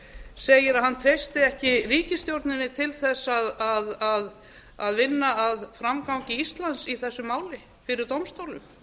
segir að hann treysti ekki ríkisstjórninni til að vinna að framgangi íslands í þessu máli fyrir dómstólum